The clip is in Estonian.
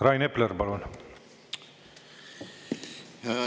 Rain Epler, palun!